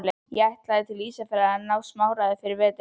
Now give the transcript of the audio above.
Ég ætlaði til Ísafjarðar að ná í smáræði fyrir veturinn.